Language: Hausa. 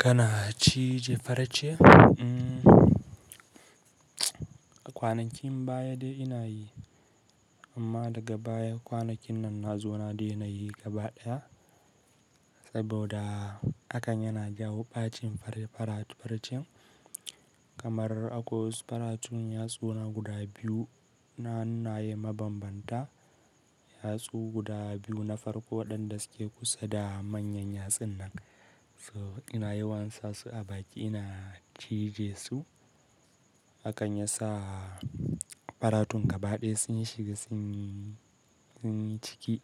Kana cije farce umm? A kwanakin baya dai ina yi, amma daga baya kwanakin nan na zo na daina yi gaba ɗaya saboda hakan yana jawo ɓacin farcen. Kamar akwai wasu faratun yatsuna guda biyu na hannaye mabambanta, yatsu guda biyu na farko waɗanda suke kusa da manyan yatsunnan. So ina yawan sa su a baki ina cije su, hakan ya sa faratun gaba ɗaya sun shiga sun yi ciki,